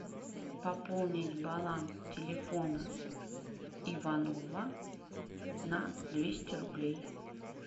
пополнить баланс телефона иванова на двести рублей